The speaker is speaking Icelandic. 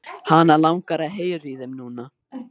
Hana langar að heyra í þeim núna.